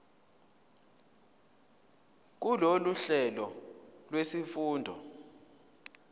kulolu hlelo lwezifundo